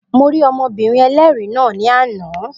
Mo rí ọmọbìnrin ẹlẹ́rìí náà ní àná